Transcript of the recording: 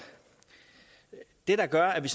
det der gør at vi